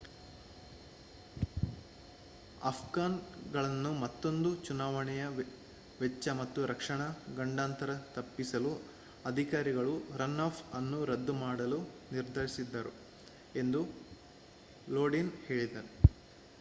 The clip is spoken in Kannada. ಆಫ್ಘನ್ ಗಳನ್ನು ಮತ್ತೋಂದು ಚುನಾವಣೆಯ ವೆಚ್ಚ ಮತ್ತು ರಕ್ಷಣಾ ಗಂಡಾಂತರ ತಪ್ಪಿಸಲು ಅಧಿಕಾರಿಗಳು ರನ್ ಆಫ್ ಅನ್ನು ರದ್ದು ಮಾಡಲು ನಿರ್ಧರಿಸಿದರು ಎಂದೂ ಲೋಡಿನ್ ಹೇಳಿದ